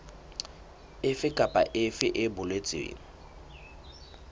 efe kapa efe e boletsweng